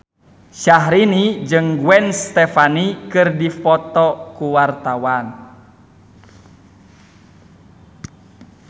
Syahrini jeung Gwen Stefani keur dipoto ku wartawan